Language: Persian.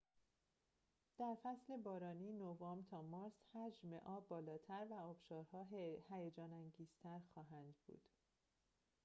در فصل بارانی نوامبر تا مارس، حجم آب بالاتر و آبشارها هیجان‌انگیزتر خواهند بود